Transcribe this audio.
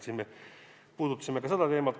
Me puudutasime ka seda teemat.